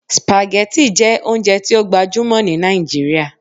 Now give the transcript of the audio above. Spaghetti jẹ ounjẹ ti o gbajumọ ni Nigeria